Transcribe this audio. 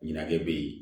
Ɲɛnajɛ bɛ ye